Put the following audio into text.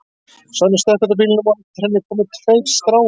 Sonja stökk út úr bílnum og á eftir henni komu tveir strákar.